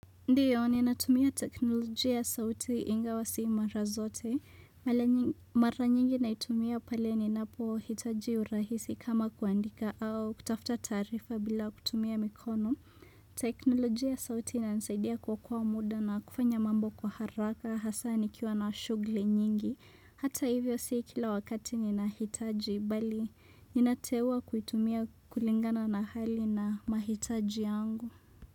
Ndiyo, ninatumia teknolojia sauti inga wa sii mara zote. Mara nyingi naitumia pale ni napo hitaji urahisi kama kuandika au kutafta taarifa bila kutumia mikono. Teknolojia sauti inanisaidia kuokoa muda na kufanya mambo kwa haraka hasani kiwa na shuguli nyingi. Hata hivyo sii kila wakati ninahitaji bali ninateua kuitumia kulingana na hali na mahitaji yangu.